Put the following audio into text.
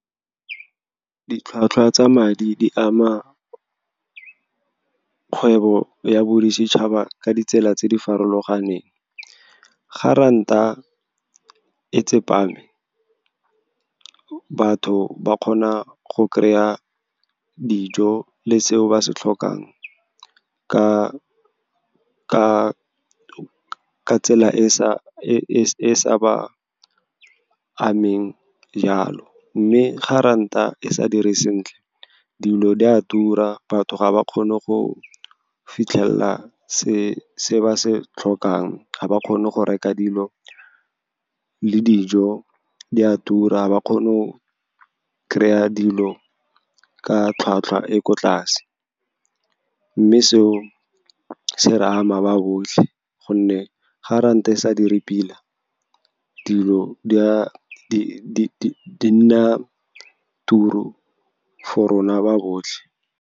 Ditlhwatlhwa tsa madi di ama kgwebo ya boditšhaba ka ditsela tse di farologaneng. Ga ranta e tsepame, batho ba kgona go kry-a dijo le tseo ba se tlhokang ka tsela e e sa ba ameng jalo. Mme ga ranta e sa dire sentle, dilo di a tura, batho ga ba kgone go fitlhelela se ba se tlhokang, ga ba kgone go reka dilo le dijo di a tura. Ba kgone o kry-a dilo ka tlhwatlhwa e ko tlase, mme seo se re ama ba botlhe gonne ga ranta e sa dire pila, dilo di a nna turi for rona ba botlhe.